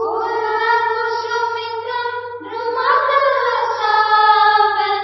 ಫುಲ್ಲಕುಸುಮಿತ ದ್ರುಮದಲ ಶೋಭಿನೀಂ